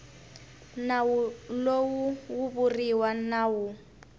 nawu lowu wu vuriwa nawu